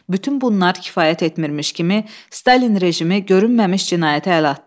Bütün bunlar kifayət etmirmiş kimi, Stalin rejimi görünməmiş cinayətə əl atdı.